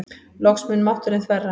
Loks mun mátturinn þverra.